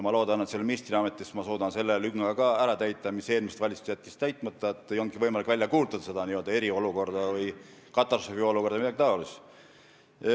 Ma loodan, et ministriametis ma suudan ka selle lünga ära täita, mille eelmine valitsus oli täitmata jätnud, et ei olnud võimalik välja kuulutada eriolukorda, katastroofiolukorda või midagi sellist.